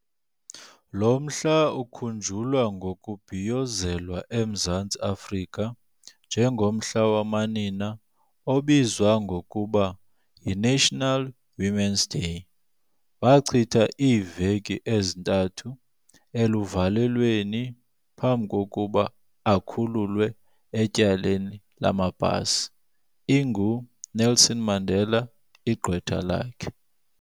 Lo mhla ukhunjulwa ngokubhiyozelwa eMzantsi Afrika njengomhla wamanina obizwa ngokuba yiNational Women's Day. Wachitha iiveki ezintathu eluvalelweni phambi kokuba akhululwe etyaleni lamapasi, inguNelson Mandela igqwetha lakhe.